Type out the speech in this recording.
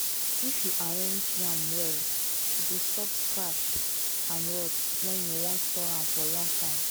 if you arrange yam well e go stop scratch and rot when you wan store am for long time.